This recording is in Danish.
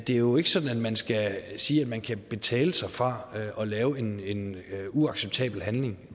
det er jo ikke sådan at man skal sige at man kan betale sig fra at lave en en uacceptabel handling